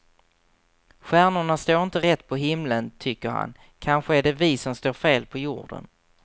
Stjärnorna står inte rätt på himlen, tycker han; kanske är det vi som står fel på jorden.